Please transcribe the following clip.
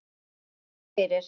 Ekki þar fyrir.